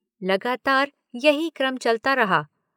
लगातार यही क्रम चलता रहा।